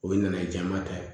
O ye nana ye jama ta ye